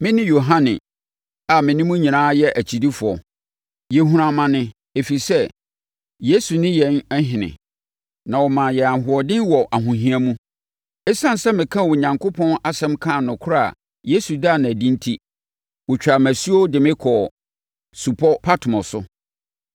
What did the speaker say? Mene Yohane, a me ne mo nyinaa yɛ akyidifoɔ. Yɛhunu amane ɛfiri sɛ Yesu ne yɛn ɔhene, na ɔma yɛn ahoɔden wɔ ahohia mu. Esiane sɛ mekaa Onyankopɔn asɛm kaa nokorɛ a Yesu daa no adi enti, wɔtwaa me asuo de me kɔɔ Supɔ Patmo so.